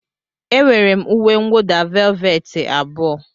Enwere m uwe mwụda velveti abụọ.